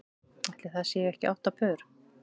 Ætli það séu ekki átta pör.